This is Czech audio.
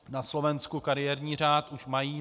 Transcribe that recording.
Na Slovensku kariérní řád už mají.